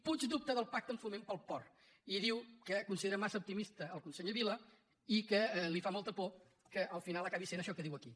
puig dubta del pacte amb foment pel port i diu que considera massa optimista el conseller vila i que li fa molta por que al final acabi sent això que diu aquí